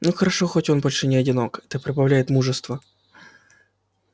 но хорошо хоть он больше не одинок это прибавляет мужества